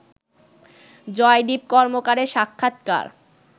জয়দীপ কর্মকারের সাক্ষাৎকার